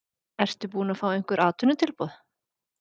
Ertu búinn að fá einhver atvinnutilboð?